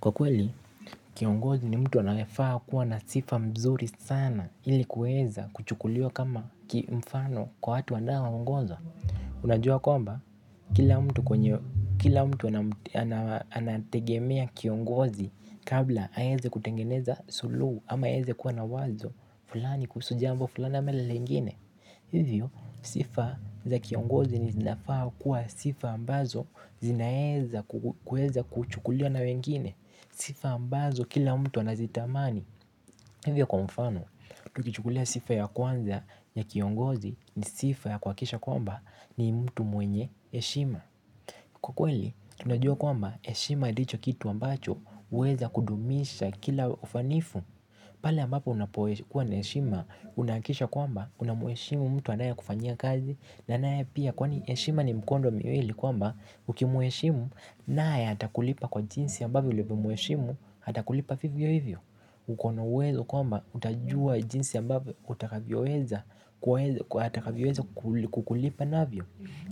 Kwa kweli kiongozi ni mtu anayefaa kuwa na sifa mzuri sana ili kuweza kuchukuliwa kama kimfano kwa watu wanaowaongoza. Unajua kwamba kila mtu anategemea kiongozi kabla aeze kutengeneza suluhu ama aeze kuwa na wazo fulani kuhusu jambo fulani ama ile lengine. Hivyo sifa za kiongozi ni zinafaa kuwa sifa ambazo zinaeza kuweza kuchukuliwa na wengine. Sifa ambazo kila mtu anazitamani. Hivyo kwa mfano, tukichukulia sifa ya kwanza ya kiongozi ni sifa ya kuhakikisha kwamba ni mtu mwenye heshima. Kwa kweli, tunajua kwamba heshima ndicho kitu ambacho huweza kudumisha kila ufanifu. Pala ambapo unapokuwa na heshima unahakikisha kwamba unamheshimu mtu anayekufanyia kazi na anaye pia kwani heshima ni mkondo miwili kwamba ukimheshimu naye atakulipa kwa jinsi ambavyo ulivyomheshimu atakulipa vivyo hivyo. Ukona uwezo kwamba utajua jinsi ambavyo utakavyoweza kukulipa navyo.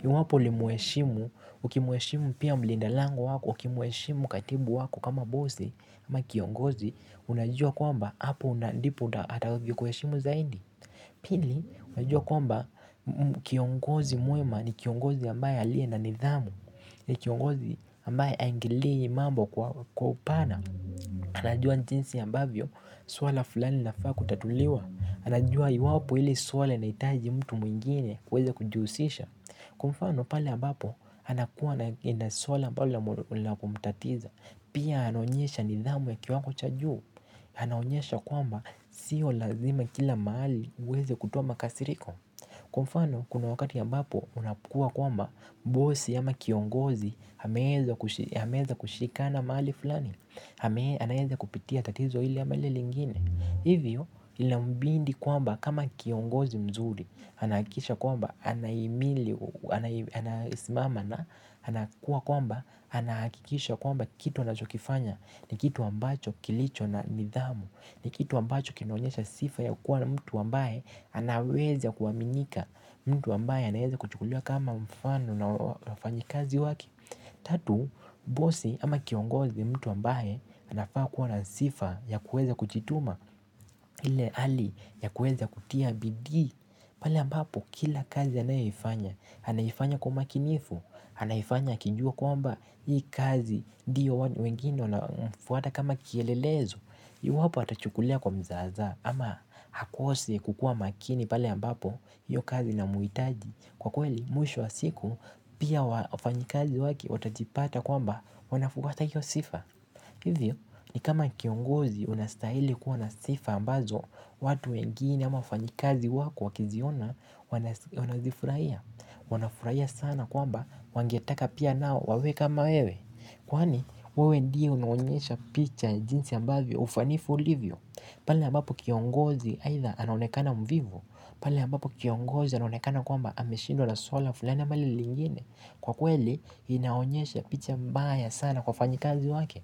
Iwapo ulimheshimu, ukimheshimu pia mlinda lango wako, ukimweshimu katibu wako kama bosi ama kiongozi, unajua kwamba hapo ndipo atakavyo kuheshimu zaidi. Pili, unajua kwamba kiongozi mwema ni kiongozi ambaye aliye na nidhamu. Ni kiongozi ambaye haingililii mambo kwa upana. Anajua ni jinsi ambavyo, suala fulani linafaa kutatuliwa. Anajua iwapo ili suala linahitaji mtu mwingine aweze kujihusisha. Kwa fano pale ambapo, anakuwa na suala ambalo ni la kumtatiza pia anaonyesha nidhamu ya kiwango cha juu. Anaonyesha kwamba, siyo lazima kila mahali uweze kutoa makasiriko. Kwa mfano kuna wakati ambapo, unapokua kwamba bosi ama kiongozi, ameeza kushikana mahali fulani anaeza kupitia tatizo hili ama ile lingine. Hivyo inambidi kwamba kama kiongozi mzuri anahakikisha kwamba anahimili, anasimama na anahakikisha kwamba kitu anachokifanya ni kitu ambacho kilicho na nidhamu. Ni kitu ambacho kinaonyesha sifa ya kuwa na mtu ambaye anaweza kuaminika mtu ambaye anaeza kuchukuliwa kama mfano na wafanyikazi wake. Tatu, bosi ama kiongozi ni mtu ambaye anafaa kuwa na sifa ya kueza kujituma ile hali ya kueza kutia bidii. Pale ambapo kila kazi anayoifanya, anaifanya kwa umakinifu, anaifanya akijua kwamba hii kazi ndiyo wengine wanafuata kama kielelezo. Iwapo atachukulia kwa mzazaa ama akose kukua makini pale ambapo hiyo kazi inamuhitaji. Kwa kweli mwisho wa siku pia wafanyikazi wake watajipata kwamba wanafuata hiyo sifa. Hivyo ni kama kiongozi unastahili kuwa na sifa ambazo watu wengine ama wafanyikazi wako wakiziona wanafuraia. Wanafuraia sana kwamba wangetaka pia nao wawe kama wewe. Kwani wewe ndiyo unaonyesha picha jinsi ambavyo ufanifu ulivyo. Pale ambapo kiongozi aidha anaonekana mvivu pale ambapo kiongozi anaonekana kwamba ameshidwa na suala fulani ama hili lingine kwa kweli inaonyesha picha mbaya sana kwa wafanyikazi wake.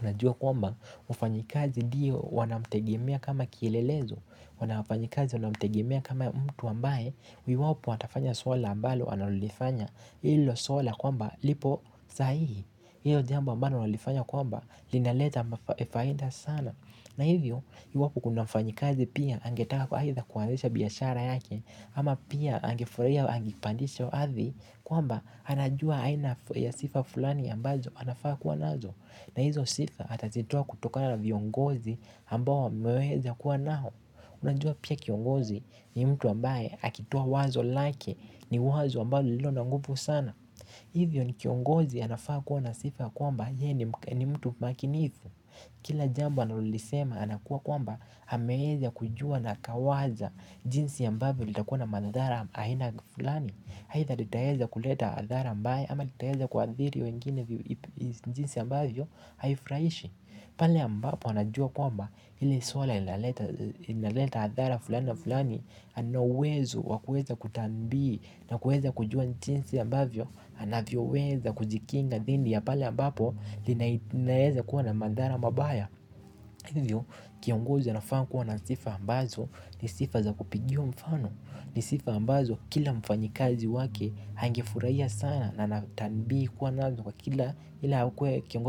Unajua kwamba ufanyikazi ndiyo wanamtegemea kama kielelezo. Wana wafanyikazi wanamtegemea kama mtu ambaye iwapo watafanya suala ambalo analolifanya bilo suala kwamba lipo sahihi hiyo jambo ambalo wanalifanya kwamba linaleta ma faida sana. Na hivyo iwapo kuna mfanyikazi pia angetaka aidha kuanzisha biashara yake. Ama pia angefurahia wa angepandishwa hathi kwamba anajua aina ya sifa fulani ambazo anafaa kuwa nazo. Na hizo sifa atazitoa kutokana na viongozi ambao mwameweza kuwa nao. Unajua pia kiongozi ni mtu ambaye akitoa wazo lake ni wazo ambayo lililo na nguvu sana. Hivyo ni kiongozi anafaa kuwa na sifa kwamba yeye ni mtu makinifu. Kila jambo analolisema anakuwa kwamba ameeza kujua na akawaza jinsi ambavyo litakuwa na madhara aina flani aidha litaeza kuleta adhara ambaye ama litaeza kuathiri wengine jinsi ambavyo haifraishi. Pale ambapo anajua kwamba hili suala inaleta athara fulani na fulani ana uwezo wa kueza kutambi na kueza kujua jinsi ambavyo anavyoweza kujikinga dhindi ya pale ambapo linaweza kuwa na madhara mabaya. Hivyo kiongozi anafaa kuwa na sifa ambazo ni sifa za kupigiwa mfano. Ni sifa ambazo kila mfanyikazi wake angefurahia sana na natambi kuwa nazo kwa kila ila kiongozi.